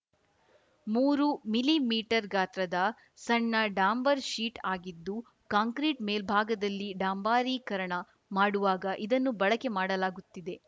ಮೂರು millimetre ಗಾತ್ರದ ಸಣ್ಣ ಡಾಂಬಾರ್‌ ಶೀಟ್‌ ಆಗಿದ್ದು ಕಾಂಕ್ರಿಟ್‌ ಮೇಲ್ಭಾಗದಲ್ಲಿ ಡಾಂಬಾರಿಕರಣ ಮಾಡುವಾಗ ಇದನ್ನು ಬಳಕೆ ಮಾಡಲಾಗುತ್ತಿದೆ